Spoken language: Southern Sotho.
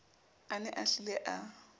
a ne a hlile a